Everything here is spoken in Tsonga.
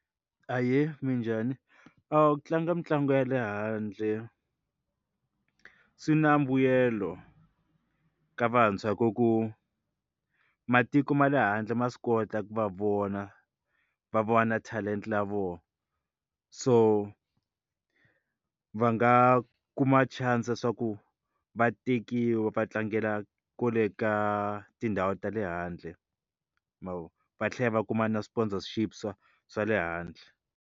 Ahee, minjhani? Ku tlanga mitlangu ya le handle swi na mbuyelo ka vantshwa hi ku ku matiko ma le handle ma swi kota ku va vona va vona talent-a ta vona so va nga kuma chance swa ku va tekiwa va tlangela kule ka tindhawu ta le handle ma vo va tlhela va kuma na sponsorship swa swa le handle.